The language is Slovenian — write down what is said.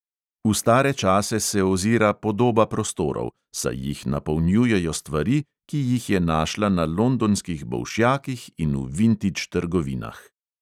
V stare čase se ozira podoba prostorov, saj jih napolnjujejo stvari, ki jih je našla na londonskih bolšjakih in v vintidž trgovinah.